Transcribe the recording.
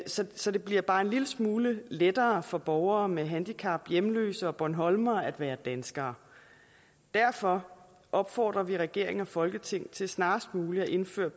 så så det bliver bare en lille smule lettere for borgere med handicap hjemløse og bornholmere at være danskere derfor opfordrer vi regering og folketing til snarest muligt at indføre